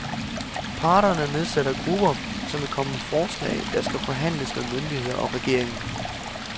Parterne nedsætter grupper, som vil komme med forslag, der skal forhandles med myndigheder og regeringen.